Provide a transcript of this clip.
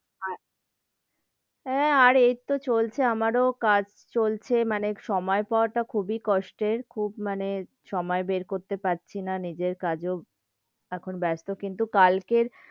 আচ্ছা, হেঁ, আর এইতো চলছে আমারো কাজ চলছে, মানে সময় পাওয়া টা খুবই কষ্টের, খুব মানে সময় বের করতে পারছি না নিজের কাজেও এখন ব্যস্ত কিন্তু কালের,